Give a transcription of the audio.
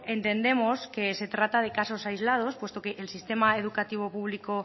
entendemos que se trata de casos aislados puesto que el sistema educativo público